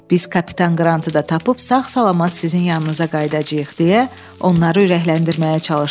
Biz kapitan Qrantı da tapıb sağ-salamat sizin yanınıza qayıdacayıq, deyə onları ürəkləndirməyə çalışdı.